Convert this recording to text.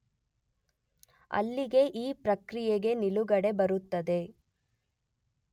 ಅಲ್ಲಿಗೆ ಈ ಪ್ರಕ್ರಿಯೆಗೆ ನಿಲುಗಡೆ ಬರುತ್ತದೆ.